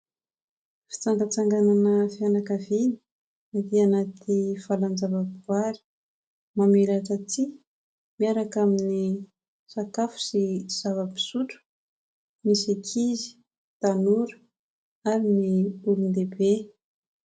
Fitsangatsanganana fianakaviana atỳ anaty valan-java-boahary. Mamelatra tsihy miaraka amin'ny sakafo sy zava-pisotro ny ankizy, tanora ary ny olon-dehibe.